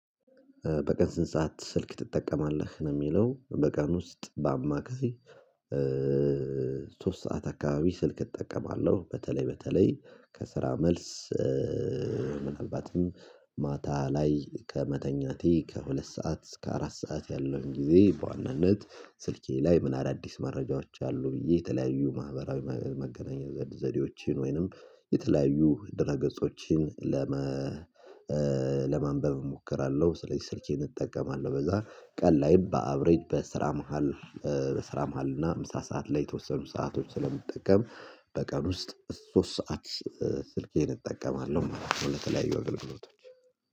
በቀን ስንት ሰዓት ስልክ ትጠቀማለህ? ነው የሚለው በቀን ውስጥ በአማካይ ሶስት ሰዓት አካባቢ ስልክ እጠቀማለሁ። በተለይ በተለይ ከስራ መልስ ምናልባትም ማታ ላይ ከመተኛቴ ከሁለት ሰዓት እስከ አራት ሰዓት ያለውን ጊዜ በዋናነት፤ ስልኬ ላይ ምን አዳዲስ መረጃዎች አሉ ብዬ፤ የተለያዩ ማህበራዊ መገናኛ ዘዴዎቼን ወይንም የተለያዩ ድራ ገጾችን፤ ለመ ለማንበብ እሞክራለሁ፤ ስለዚህ ስልኬን እጠቀማለሁ በዛ ቀን ላይ በአቭሬጅ በስራ መሃል በስራ መሃል እና አምሳ ሰዓት ላይ የተወሰኑ ሰአቶች ስለምትጠቀም፤ በቀን ውስጥ ሶስት ሰዓት ስልኬን እጠቀማለሁ ማለት ነው ለተለያዩ አገልግሎቶች።